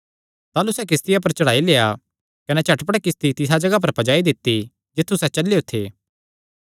ताह़लू सैह़ किस्तिया पर चढ़ाई लेआ कने झटपट किस्ती तिसा जगाह पर पज्जाई दित्ती जित्थु सैह़ चलेयो थे